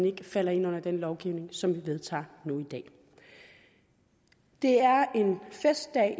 ikke falder ind under den lovgivning som vi vedtager nu i dag det er en festdag